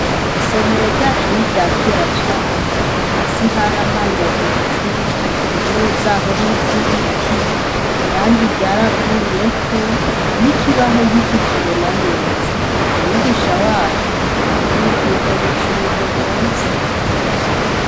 Isomero ryacu ni iryakera cane hasi haramanyaguritse intebe zaho n'izibiti irangi ryaravuyeko n'ikibaho ntkikibona neza umwigisha wacu arakwiye kubimenyesha umuyobozi.